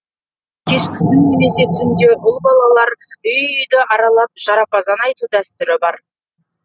кешкісін немесе түнде ұл балалар үй үйді аралап жарапазан айту дәстүрі бар